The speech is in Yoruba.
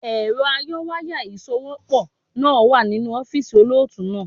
Èrọ ayọwáyà ìsòwépọ̀ náà wà nínú ọ́fíìsì olóòtú náà.